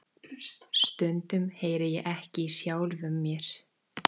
Stundum heyri ég ekki í sjálfum mér.